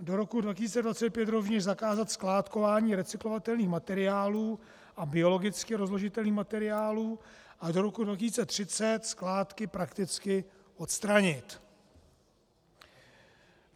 Do roku 2025 rovněž zakázat skládkování recyklovatelných materiálů a biologicky rozložitelných materiálů a do roku 2030 skládky prakticky odstranit.